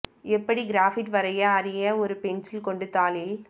எப்படி கிராஃபிட்டி வரைய அறிய ஒரு பென்சில் கொண்டு தாளில்